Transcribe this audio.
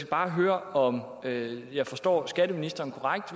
bare høre om jeg forstår skatteministeren korrekt